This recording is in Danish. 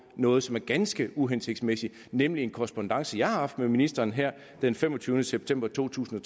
noget som er ganske uhensigtsmæssigt nemlig en korrespondance jeg har haft med ministeren her den femogtyvende september to tusind